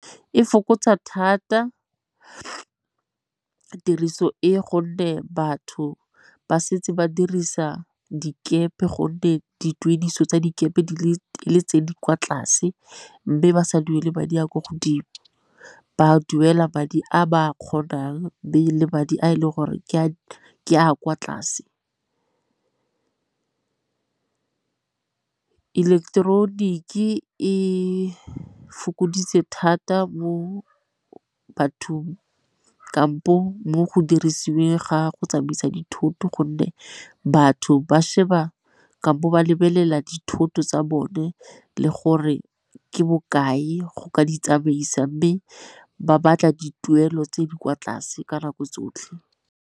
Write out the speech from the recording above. E fokotsa thata tiriso e gonne batho ba setse ba dirisa dikepe gonne dituediso tsa dikepe di le tse di kwa tlase, mme ba sa duele madi a kwa godimo ke ba duela madi a ba a kgonang madi a e leng gore ke a kwa tlase. Ileketeroniki e fokoditse thata bo batho kampo mo go dirisiweng ga go tsamaisa dithoto gonne batho ba sheba kampo ba lebelela dithoto tsa bone le gore ke bokae go ka ditsamaisa, mme ba batla dituelo tse di kwa tlase ka nako tsotlhe.